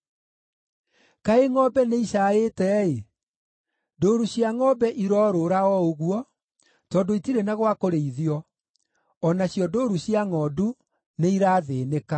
Kaĩ ngʼombe nĩicaaĩte-ĩ. Ndũũru cia ngʼombe iroorũũra o ũguo, tondũ itirĩ na gwa kũrĩithio; o nacio ndũũru cia ngʼondu nĩirathĩĩnĩka.